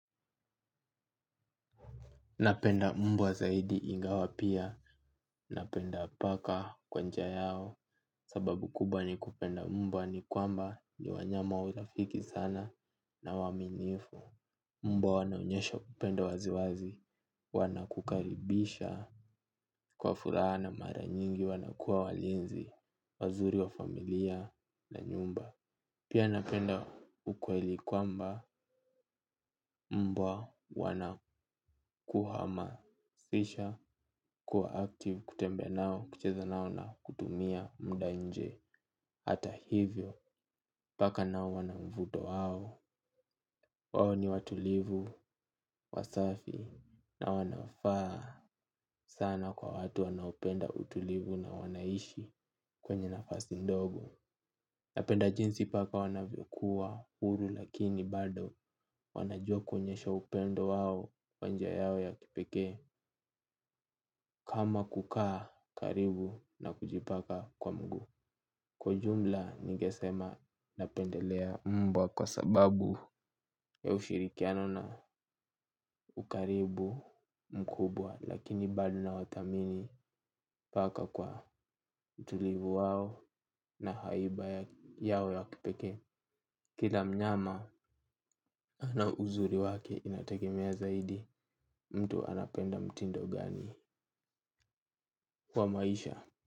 Napenda mbwa zaidi ingawa pia. Napenda paka kwa njia yao. Sababu kubwa ni kupenda mbwa ni kwamba ni wanyama urafiki sana na waaminifu. Mbwa wanaonyesha kupenda waziwazi. Wanakukaribisha. Kwa furaha na mara nyingi wanakuwa walinzi. Wazuri wa familia na nyumba. Pia napenda ukweli kwamba mbwa wanakuhama. Sisha kuwa active kutembea nao kucheza nao na kutumia muda nje. Hata hivyo paka nao wana mvuto wao. Wao ni watulivu, wasafi na wanafaa sana kwa watu wanaopenda utulivu na wanaishi kwenye nafasi ndogo. Napenda jinsi paka wanavyokuwa huru lakini bado wana jua kuonyesha upendo wao wa njia yao ya kipeke kama kukaa karibu na kujipanga kwa mguu kwa ujumla ningesema napendelea mbwa kwa sababu ya ushirikiano na ukaribu mkubwa. Lakini bado na wathamini paka kwa utulivu wao na haiba yao ya kipekee. Kila mnyama na uzuri wake inategemea zaidi mtu anapenda mtindo gani kwa maisha.